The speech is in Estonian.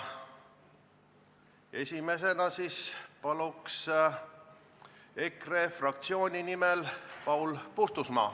Esimesena palun EKRE fraktsiooni nimel Paul Puustusmaa.